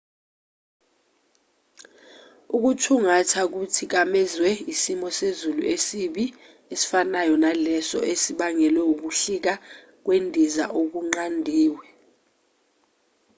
ukuthungatha kuthikamezwe isimo sezulu esibi esifanayo leso esibangele ukuhlika kwendiza okunqandiwe